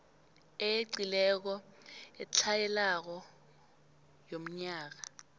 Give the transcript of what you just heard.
eyeqileko etlhayelako yomnyaka